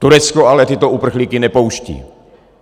Turecko ale tyto uprchlíky nepouští.